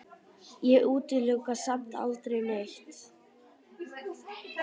Ég útiloka samt aldrei neitt.